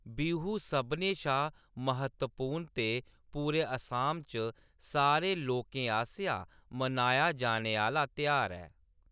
बिहू सभनें शा म्हत्तवपूर्ण ते पूरे असम च सारे लोकें आसेआ मनाया जाने आह्‌‌‌ला त्यहार ऐ।